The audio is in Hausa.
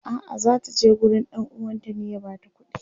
a'a zata je gurin ɗan uwanta ne ya bata kudi